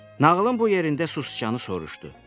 Nağılın bu yerində susqanı soruşdu.